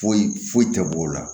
Foyi foyi tɛ bɔ o la